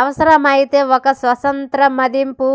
అవసరమైతే ఒక స్వతంత్ర మదింపు